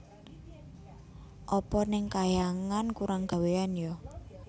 Apa neng kahyangan kurang gawéan ya